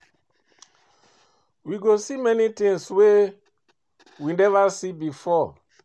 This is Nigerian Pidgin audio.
We go see many things wey we never see before